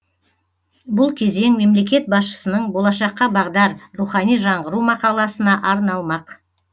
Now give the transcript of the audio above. бұл кезең мемлекет басшысының болашаққа бағдар рухани жаңғыру мақаласына арналмақ